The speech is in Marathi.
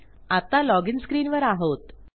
आत्ता लॉजिन स्क्रीनवर आहोत